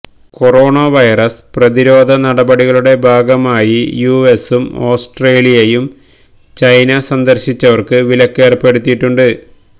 corona virus പ്രതിരോധനടപടികളുടെ ഭാഗമായി യുഎസും ഓസ്ട്രേലിയയും ചൈന സന്ദർശിച്ചവർക്ക് വിലക്കേർപ്പെടുത്തിയിട്ടുണ്ട്